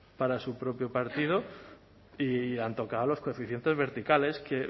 para su propio partido y han tocado los coeficientes verticales que